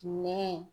Nɛ